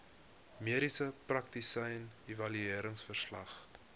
mediese praktisyn evalueringsverslag